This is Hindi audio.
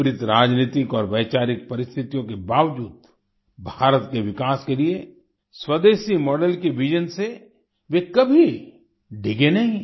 विपरीत राजनीतिक और वैचारिक परिस्थितियों के बावजूद भारत के विकास के लिए स्वदेशी मॉडल के विजन से वे कभी डिगे नहीं